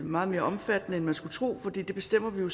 meget mere omfattende end man skulle tro for det bestemmer vi jo